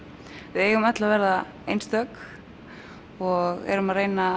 við eigum öll að verða einstök og erum að reyna